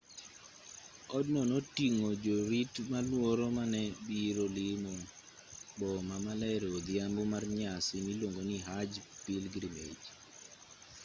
odno noting'o jorit malworo ma ne biro limo boma maler e odhiambo mar nyasi miluongo ni hajj pilgrimage